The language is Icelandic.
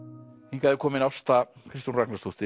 hingað er komin Ásta Kristrún Ragnarsdóttir